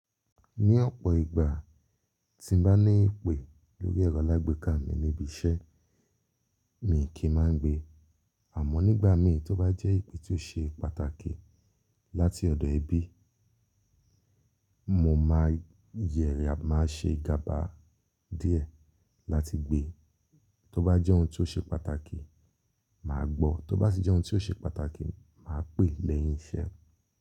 Ní ọ̀pọ̀ ìgbà tí mó bá ní ìpè lórí ẹ̀rọ lágbẹ́kà mi níbi iṣẹ́, mi kì í máa ń gbe. Àmọ́ nígbà mìí tí ó bá jẹ́ ìpè tí ó ṣe pàtàkì láti ọ̀dọ̀ ẹbí, mo máa yẹrí, a máa ṣe ìgàbá díẹ̀ láti gbe. Tí ó bá jẹ́ ohun tí ó ṣe pàtàkì, màá gbọ́. Tí ó bá sì jẹ́ ohun tí ó ṣe pàtàkì, màá pè lẹ́yìn iṣẹ́.